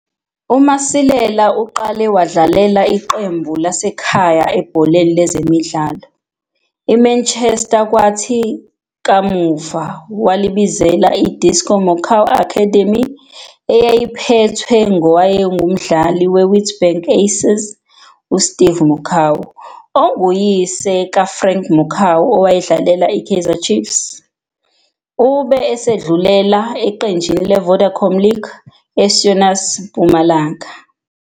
UMasilela uqale wadlalela iqembu lasekhaya ebholeni lezemidlalo, iManchester kwathi kamuva walibizela iDisco Makua Academy eyayiphethwe ngowayengumdlali weWitbank Aces uSteve Makua onguyise kaFrank Makua owayedlalela iKaizer Chiefs. Ube esedlulela eqenjini leVodacom League, eSonas Mpumalanga.